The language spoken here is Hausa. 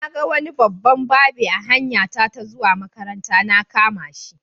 Na ga wani babban babe a hanyar zuwa makaranta, na kama shi.